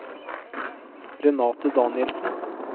Renate Danielsen